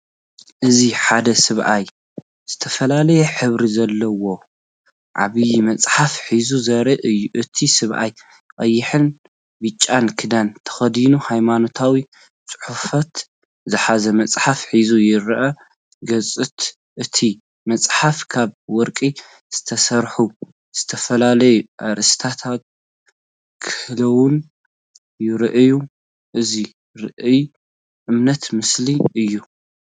እዚ ሓደ ሰብኣይ ዝተፈላለየ ሕብሪ ዘለዎ፡ ዓቢይ መጽሓፍ ሒዙ ዘርኢ እዩ። እቲ ሰብኣይ ቀይሕን ብጫን ክዳን ተኸዲኑ ሃይማኖታዊ ጽሑፋት ዝሓዘ መጽሓፍ ሒዙ ይረአ። ገጻት እታ መጽሓፍ ካብ ወርቂ ዝተሰርሑ ዝተፈላለዩ ኣርእስታት ክህልዎም ይረኣዩ። እዚ ራእይ እምነትን ምስልን እዩ።